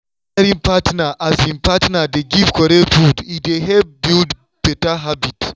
wen caring partner dey give correct food e dey help build better habit.